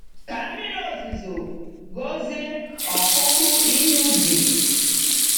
Ka mmiri ozuzo gọzie ọkụkụ ihe ubi.